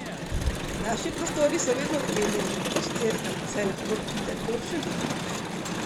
Naši prostori so vedno odklenjeni, kot cerkev, saj lahko pride, kdor želi.